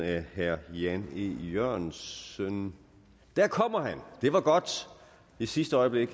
af herre jan e jørgensen der kommer han det var godt i sidste øjeblik